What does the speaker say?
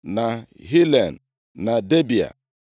na Hilen, na Debịa,